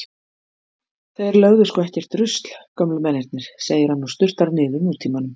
Þeir lögðu sko ekkert rusl gömlu mennirnir, segir hann og sturtar niður Nútímanum.